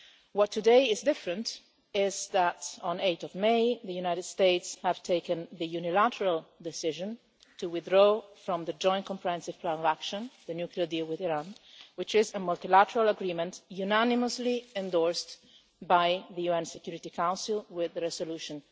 What today is different is that on 8 May the United States took the unilateral decision to withdraw from the Joint Comprehensive Plan of Action the nuclear deal with Iran, which is a multilateral agreement unanimously endorsed by the UN Security Council with resolution